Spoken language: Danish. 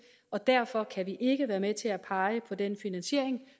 og derfor kan vi ikke være med til at pege på den finansiering